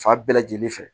Fa bɛɛ lajɛlen fɛ